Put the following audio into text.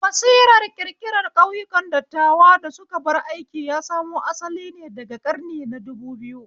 Basirar ƙirƙiran ƙauyakun dattawa da suka bar aiki ya samo asalin ne daga ƙarni na dubu biyu